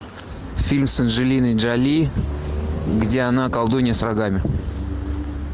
фильм с анджелиной джоли где она колдунья с рогами